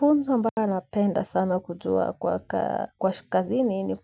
Funzo ambayo napenda sana kutoa kwa kazini ni